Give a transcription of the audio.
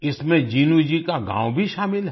इसमें जिनु जी का गाँव भी शामिल है